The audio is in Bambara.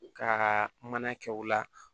Ka mana kɛ o la